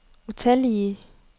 utallige